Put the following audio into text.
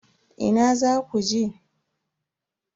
Ina zaku je?